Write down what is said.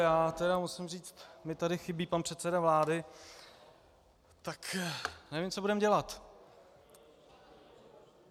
Já tedy musím říct, mně tady chybí pan předseda vlády, tak nevím, co budeme dělat.